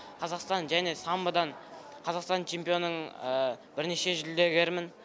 қазақстан және самбодан қазақстан чемпионың бірнеше жүлдегерімін